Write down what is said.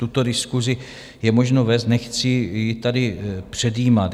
Tuto diskusi je možno vést, nechci ji tady předjímat.